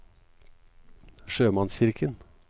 sjømannskirken